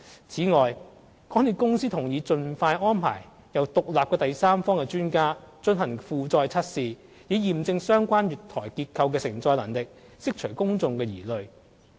此外，港鐵公司同意盡快安排由獨立第三方專家進行負載測試，以驗證相關月台結構的承載能力，釋除公眾疑慮。